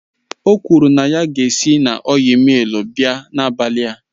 O kwuru na ya si na ọil millu abịa n'abalị a